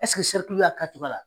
Ɛsseke serikiliw y'a k'a kɛcogoya la?